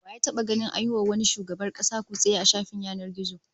Wa ya taba ganin an yi wa wani shugaban kasa kutse a shafin yanar gizo?